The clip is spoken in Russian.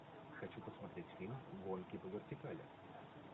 хочу посмотреть фильм гонки по вертикали